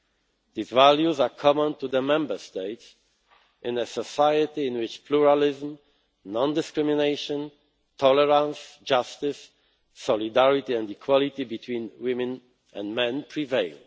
These values are common to the Member States in a society in which pluralism, non discrimination, tolerance, justice, solidarity and equality between women and men